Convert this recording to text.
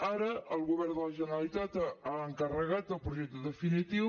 ara el govern de la generalitat ha encarregat el projecte definitiu